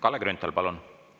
Kalle Grünthal, palun!